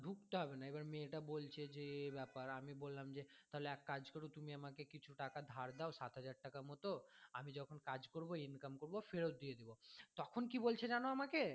দিতে হবে না এবার মেয়েটা বলছে যে এই ব্যাপার আমি বললাম যে তাহলে একটা কাজ কর তুমি আমাকে কিছু টাকা ধার দাও সাত হাজার টাকা মতো আমি যখন কাজ করবো income করবো ফেরত দিয়ে দেবো তখন কী বলছে জানো আমাকে